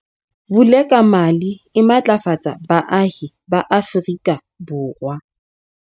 Vulekamali e matlafatsa baahi ba Afrika Borwa.